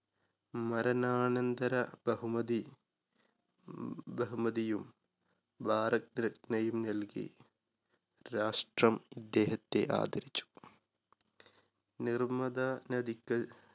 മരണാനന്തര ബഹുമതി ബഹുമതിയും ഭാരതരത്നയും നൽകി രാഷ്ട്രം ഇദ്ദേഹത്തെ ആദരിച്ചു. നിർമത നദികൾ